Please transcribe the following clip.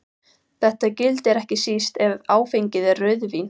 Þetta gildir ekki síst ef áfengið er rauðvín.